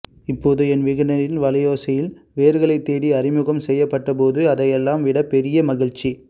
இப்போது என்விகடனில் வலையோசையில் வேர்களைத்தேடி அறிமுகம் செய்யப்பட்டபோது அதையெல்லாம் விடப் பெரிய மகிழ்ச்சி